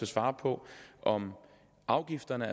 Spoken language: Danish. svare på om afgifterne